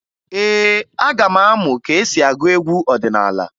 Ee, aga m amụ ka e si agụ egwu ọdịnaala